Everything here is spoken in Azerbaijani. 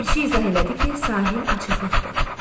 Ləpərçi izah elədi ki, sahil açıqlıqdır.